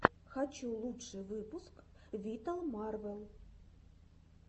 хочу лучший выпуск виталмарвел